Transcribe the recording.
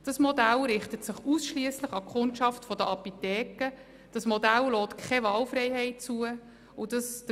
Das Modell richtet sich ausschliesslich an die Kundschaft der Apotheken und lässt keine Wahlfreiheit bei der Methode der Untersuchung zu.